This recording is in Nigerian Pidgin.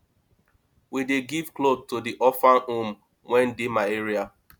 we dey give cloths to di orphage home wey dey my area